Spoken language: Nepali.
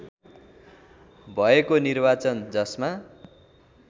भएको निर्वाचन जसमा